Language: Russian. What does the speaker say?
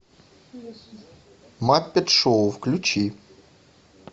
маппет шоу включи